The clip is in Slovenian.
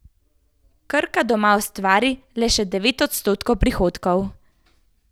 Krka doma ustvari le še devet odstotkov prihodkov.